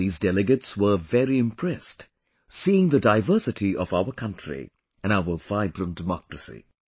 These delegates were very impressed, seeing the diversity of our country and our vibrant democracy